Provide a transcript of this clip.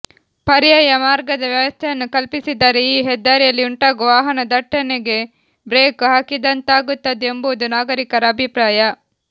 ಪರ್ಯಾಯ ಮಾರ್ಗದ ವ್ಯವಸ್ಥೆಯನ್ನು ಕಲ್ಪಿಸಿದರೆ ಈ ಹೆದ್ದಾರಿಯಲ್ಲಿ ಉಂಟಾಗುವ ವಾಹನ ದಟ್ಟಣೆಗೆ ಬ್ರೇಕ್ ಹಾಕಿದಂತಾಗುತ್ತದೆ ಎಂಬುವುದು ನಾಗರಿಕರ ಅಭಿಪ್ರಾಯ